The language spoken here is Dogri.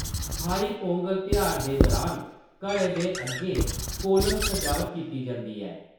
थाई पोंगल तेहार दे दुरान घरै दे अग्गें कोलम सजावट कीती जंदी ऐ।